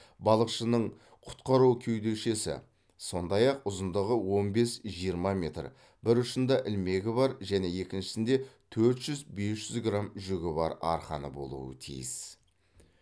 балықшының құтқару кеудешесі сондай ақ ұзындығы он бес жиырма метр бір ұшында ілмегі бар және екіншісінде төрт жүз бес жүз грамм жүгі бар арқаны болуы тиіс